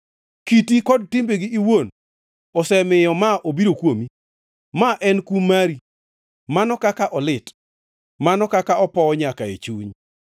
“Kiti kod timbegi iwuon osemiyo ma obiro kuomi. Ma en kum mari. Mano kaka olit! Mano kaka opowo nyaka e chuny!”